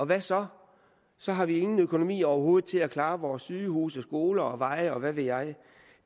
hvad så så har vi ingen økonomi overhovedet til at klare vores sygehuse skoler veje og hvad ved jeg